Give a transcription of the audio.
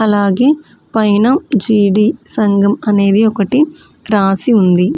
అలాగే పైన జీడి సంఘం అనేవి ఒకటి రాసి ఉంది.